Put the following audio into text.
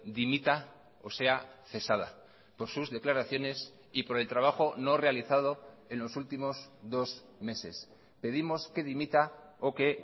dimita o sea cesada por sus declaraciones y por el trabajo no realizado en los últimos dos meses pedimos que dimita o que